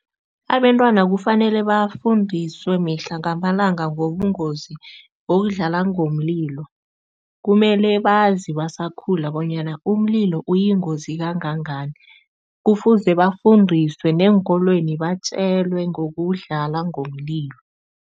Abentwana kufanele bafundiswe mihla ngamalanga ngobungozi bokudlala ngomlilo. Kumele bazi basakhula bonyana umlilo uyingozi kangangani, kufuze bafundiswe neenkolweni batjelwe ngokudlala ngomlilo.